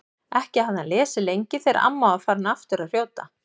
Ekki hafði hann lesið lengi þegar amma var aftur farin að hrjóta.